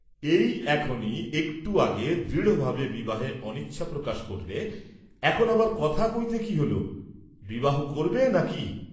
এই এখনি একটু আগে দৃঢ়ভাবে বিবাহে অনিচ্ছা প্রকাশ করলে, এখন আবার কথা কইতে কি হ'ল, বিবাহ করবে না কি?